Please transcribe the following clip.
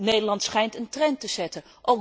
Nederland schijnt een trend te zetten.